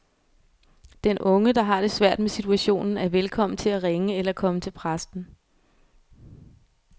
Den unge, der har det svært med situationen, er velkommen til at ringe eller komme til præsten.